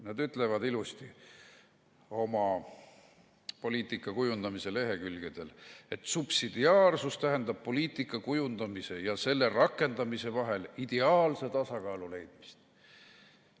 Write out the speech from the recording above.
Nad ütlevad ilusti oma poliitika kujundamise lehekülgedel, et subsidiaarsus tähendab poliitika kujundamise ja selle rakendamise vahel ideaalse tasakaalu leidmist.